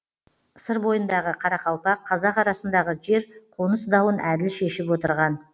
сыр бойындағы қарақалпақ қазақ арасындағы жер қоныс дауын әділ шешіп отырған